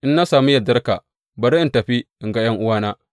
In na sami yardarka, bari in tafi in ga ’yan’uwana.’